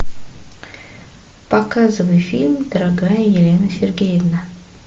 показывай фильм дорогая елена сергеевна